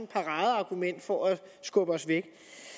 paradeargument for at skubbe os væk